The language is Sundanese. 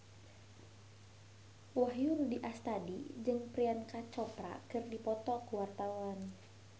Wahyu Rudi Astadi jeung Priyanka Chopra keur dipoto ku wartawan